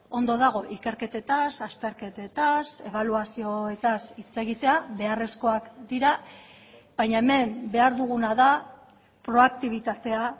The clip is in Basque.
ondo dago ikerketetaz azterketetaz ebaluazioetaz hitz egitea beharrezkoak dira baina hemen behar duguna da proaktibitatea